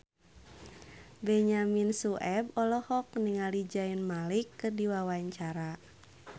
Benyamin Sueb olohok ningali Zayn Malik keur diwawancara